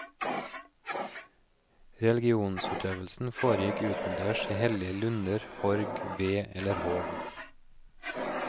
Religionsutøvelsen foregikk utendørs i hellige lunder, horg, ve eller hov.